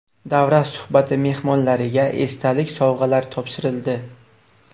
Davra suhbati mehmonlariga esdalik sovg‘alar topshirildi.